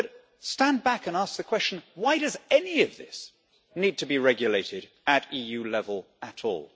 But stand back and ask the question why does any of this need to be regulated at EU level at all?